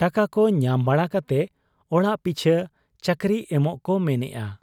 ᱴᱟᱠᱟᱠᱚ ᱧᱟᱢ ᱵᱟᱲᱟ ᱠᱟᱛᱮ ᱚᱲᱟᱜ ᱯᱤᱪᱷᱟᱹ ᱪᱟᱹᱠᱨᱤ ᱮᱢᱚᱜ ᱠᱚ ᱢᱮᱱᱮᱜ ᱟ ᱾